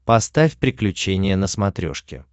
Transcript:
поставь приключения на смотрешке